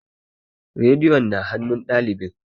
Rediyo na hanun ɗalibi